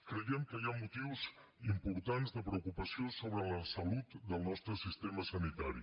creiem que hi ha motius importants de preocupació sobre la salut del nostre sistema sanitari